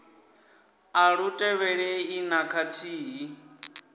a lu tevhelelei na khathihi